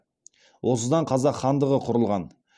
осыдан қазақ хандығы құрылған